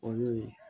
O y'o ye